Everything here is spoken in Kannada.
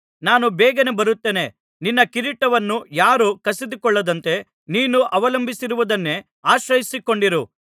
ನಾನು ಬೇಗನೇ ಬರುತ್ತೇನೆ ನಿನ್ನ ಕಿರೀಟವನ್ನು ಯಾರೂ ಕಸಿದುಕೊಳ್ಳದಂತೆ ನೀನು ಅವಲಂಬಿಸಿರುವುದನ್ನೇ ಆಶ್ರಯಿಸಿಕೊಂಡಿರು